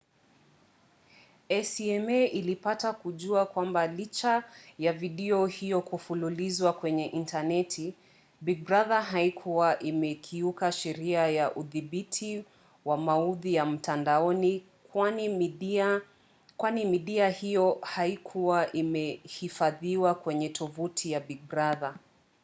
acma ilipata kujua kwamba licha ya video hiyo kufululizwa kwenye intaneti big brother haikuwa imekiuka sheria za udhibiti wa maudhui ya mtandaoni kwani midia hiyo haikuwa imehifadhiwa kwenye tovuti ya big brother